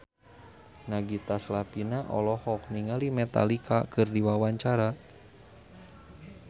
Nagita Slavina olohok ningali Metallica keur diwawancara